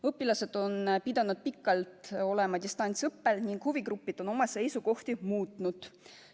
Õpilased on pidanud pikalt olema distantsõppel ning huvigrupid on oma seisukohti muutnud.